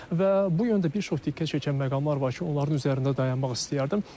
Və bu yəni də bir çox diqqət çəkən məqamlar var ki, onların üzərində dayanmaq istəyərdim.